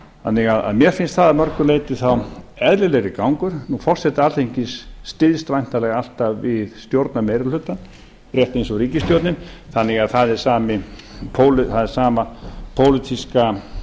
þannig að mér finnst það að mörgu leyti þá eðlilegri gangur nú forseti alþingis styðst væntanlega alltaf við stjórnarmeirihlutann rétt eins og ríkisstjórnin þannig að það er sama pólitíska stærð